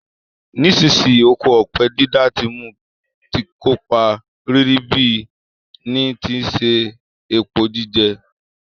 Nisínsinyí, oko ọ̀pẹ dídá ti mu ti kópa ribiribi ni ti si se epo jíjẹ